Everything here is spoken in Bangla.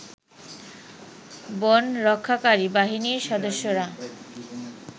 বনরক্ষাকারী বাহিনীর সদস্যরা